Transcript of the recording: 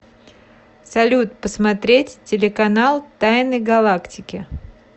салют посмотреть телеканал тайны галактики